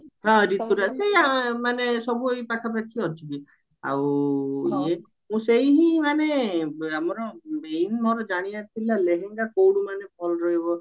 ହଁ ରିତୁରାଜ ସେଇ ସବୁ ଏଇ ପାଖା ପାଖି ଅଛି ବି ଆଉ ଇଏ ମୁଁ ସେଇ ମାନେ ଆମର main ମୋର ଜାଣିବାର ଥିଲା ଲେହେଙ୍ଗା କଉଠୁ ମାନେ ଭଲ ରହିବ